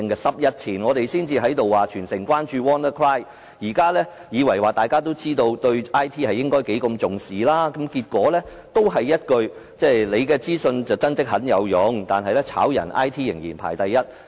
十天前，大家才在這裏說全城也要關注 "WannaCry" 病毒，我以為大家也知道應重視 IT， 但結果還是這一句，"你的資訊，真的很有用，但是解僱 IT 人員仍然排第一"......